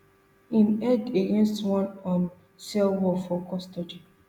im head against one um cell wall for custody